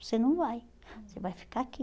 Você não vai, você vai ficar aqui.